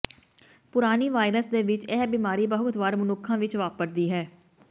ਪੁਰਾਣੀ ਵਾਇਰਸ ਦੇ ਵਿੱਚ ਇਹ ਬਿਮਾਰੀ ਬਹੁਤ ਵਾਰ ਮਨੁੱਖਾਂ ਵਿੱਚ ਵਾਪਰਦੀ ਹੈ